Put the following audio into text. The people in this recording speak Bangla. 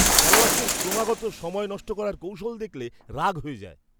খেলোয়াড়দের ক্রমাগত সময় নষ্ট করার কৌশল দেখলে রাগ হয়ে যায়।